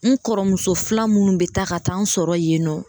N kɔrɔmuso filan minnu bɛ taa ka taa n sɔrɔ yen nɔ